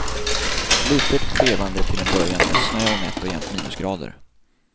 Litet trevande till en början med snö och nätt och jämnt minusgrader.